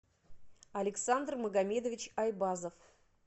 александр магомедович айбазов